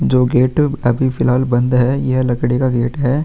जो गेट अ अभी फिलाल बंद है यह लकडी का गेट हैं।